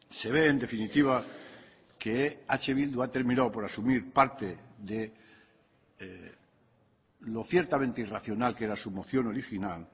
se ve en definitiva que eh bildu ha terminado por asumir parte de lo ciertamente irracional que era su moción original